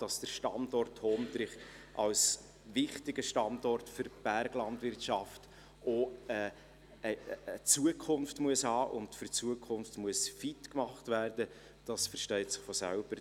Dass der Standort Hondrich als wichtiger Standort für die Berglandwirtschaft auch eine Zukunft haben und für die Zukunft fit gemacht werden muss, versteht sich von selbst.